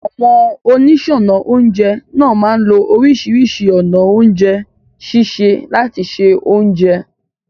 Àwọn oníṣọ́ọnà oúnjẹ náà máa lo oríṣìíríṣìí ọ̀nà oúnjẹ sísè láti se oúnjẹ.